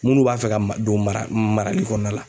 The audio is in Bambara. Minnu b'a fɛ ka ma don mara marali kɔnɔna la